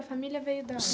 A família veio da onde?